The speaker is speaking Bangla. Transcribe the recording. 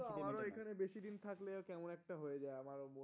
আমরাও এখানে বেশি দিন থাকলে কেমন একটা হয়ে যায় আমারও মন